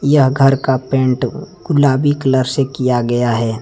यह घर का पेंट गुलाबी कलर से किया गया है।